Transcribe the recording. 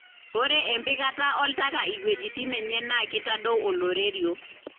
ore empikata oltaka iweujitin enye na kitadou oloirerio.